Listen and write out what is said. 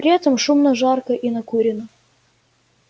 при этом шумно жарко и накурено